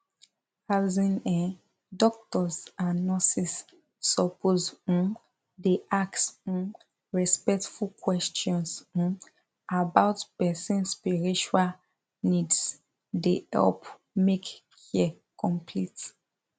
as in[um]doctors and nurses suppose um dey ask um respectful questions um about person spiritual needse dey help make care complete